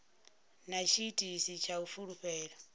na tshiitisi tsha u fulufhela